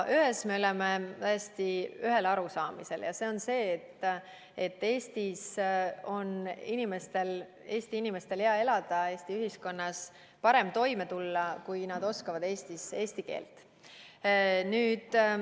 Ühes me oleme täiesti ühel arusaamisel, see on see, et Eestis on inimestel hea elada ja Eesti ühiskonnas parem toime tulla, kui nad oskavad eesti keelt.